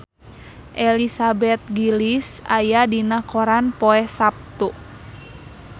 Elizabeth Gillies aya dina koran poe Saptu